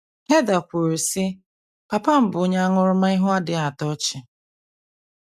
Heather kwuru, sị, “ Papa m bụ onye aṅụrụma ihu na - adịghị atọ ọchị.